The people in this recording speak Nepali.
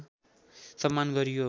सम्मान गरियो